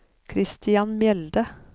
Kristian Mjelde